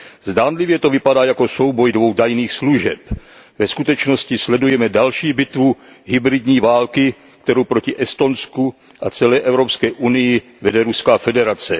Zdánlivě to vypadá jako souboj dvou tajných služeb. Ve skutečnosti sledujeme další bitvu hybridní války, kterou proti Estonsku a celé Evropské unii vede Ruská federace.